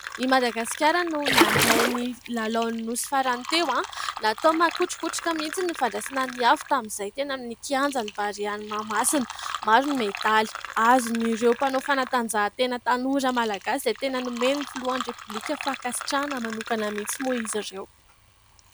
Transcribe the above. I madagasikara no nandray ny lalao ny Nosy farany teo. Natao makotrokotroka mihintsy ny fandraisana ny afo tamin'izany teny amin'ny kianjan'ny barea ny mahamasina. Maro ny medaly azon'ireo mpano fanantanjahantena tanora malagasy izay tena nomen'ny filohan'ny repobilika fankasitrahana manokana mihintsy moa izy ireo.